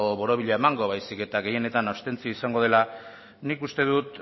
borobila emango baizik eta gehienetan abstentzioa izango dela nik uste dut